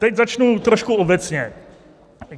Teď začnu trošku obecně.